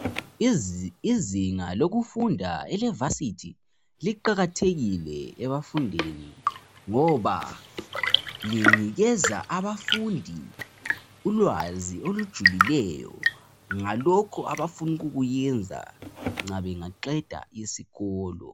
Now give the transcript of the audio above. Izinga lokufunda elevasithi liqakathekile ebafundini ngoba linikeza abafundi ulwazi olujulileyo ngalokho abafuna ukukuyenza nxa bengaqeda isikolo.